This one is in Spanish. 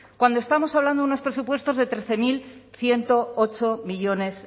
cuando estamos hablando de unos presupuestos de trece mil ciento ocho millónes